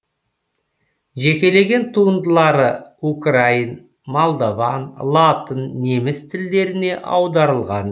жекелеген туындылары украин молдован латын неміс тілдеріне аударылған